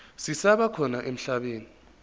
zisaba khona emhlabeni